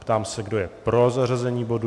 Ptám se, kdo je pro zařazení bodu.